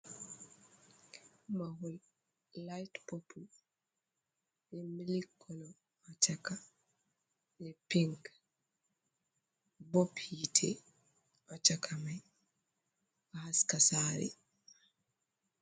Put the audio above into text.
Maho laite popul , be mili kolo ha chaka, be pink, bob hitte ha chaka mai ɗo haska sare.